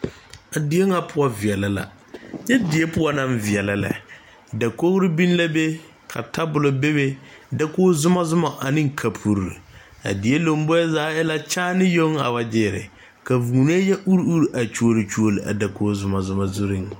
Die ŋa poɔ veɛlɛ la nyɛ die poɔ naŋ veɛlɛ lɛ dakoge biŋ la be tabolɔ bebe dakog zumɔzumɔ aneŋ kapurre a die lomboe zaa e la kyaane yoŋ a wa gyeere ka vūūnee yɛ ure ure a kyoole kyoole a dakog zumɔzumɔ zurreŋ.